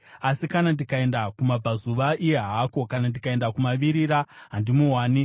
“Asi kana ndikaenda kumabvazuva, iye haako; kana ndikaenda kumavirira, handimuwani.